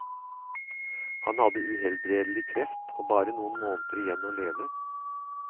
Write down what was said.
Han hadde uhelbredelig kreft og bare noen måneder igjen å leve.